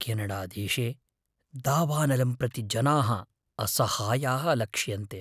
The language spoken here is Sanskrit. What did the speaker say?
केनडादेशे दावानलं प्रति जनाः असहायाः लक्ष्यन्ते।